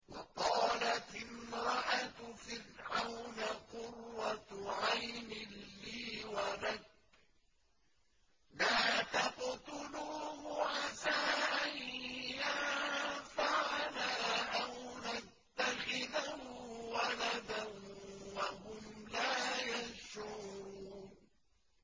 وَقَالَتِ امْرَأَتُ فِرْعَوْنَ قُرَّتُ عَيْنٍ لِّي وَلَكَ ۖ لَا تَقْتُلُوهُ عَسَىٰ أَن يَنفَعَنَا أَوْ نَتَّخِذَهُ وَلَدًا وَهُمْ لَا يَشْعُرُونَ